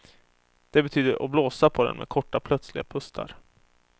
Det betydde att blåsa på den med korta plötsliga pustar.